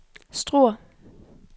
Struer